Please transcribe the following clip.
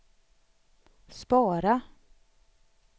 spara